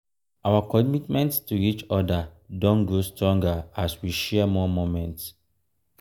our commitment to each other don grow stronger as we share more moments.